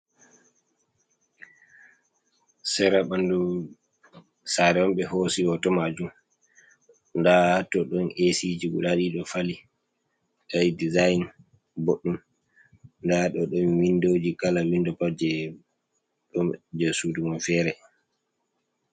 Sera ɓanɗu sare on ɓe hosi hoto majum, nda to ɗon esiji guda ɗiɗo fali ɓe waɗi dezign boɗɗum, nda ɗo ɗon windoji, kala windo pat je sudu man fere.